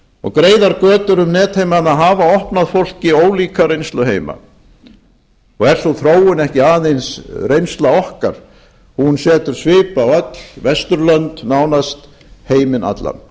og greiðar götur um netheimana hafa opnað fólki ólíka reynsluheima og er sú þróun ekki aðeins reynsla okkar hún setur svip á öll vesturlönd nánast heiminn allan